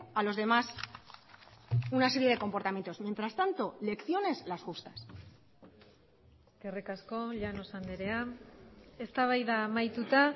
a los demás una serie de comportamientos mientras tanto lecciones las justas eskerrik asko llanos andrea eztabaida amaituta